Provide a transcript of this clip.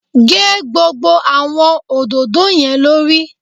Gé gbogbo àwọn òdòdó yẹn lórí.